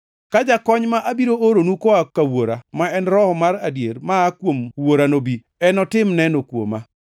“Ka Jakony ma abiro oronu koa ka Wuora, ma en Roho mar adier maa kuom Wuora nobi, enotim neno kuoma.